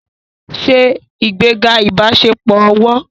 Ṣe ìgbéga ìbáṣepọ̀ ọ̀wọ̀